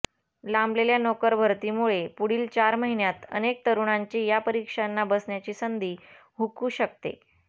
लांबलेल्या नोकरभरतीमुळे पुढील चार महिन्यात अनेक तरूणांची या परीक्षांना बसण्याची संधी हुकू शकते